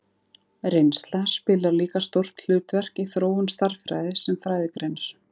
Reynsla spilar líka stórt hlutverk í þróun stærðfræði sem fræðigreinar.